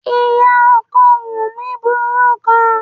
Ìyá ọkọ Wunmi burú gan-an.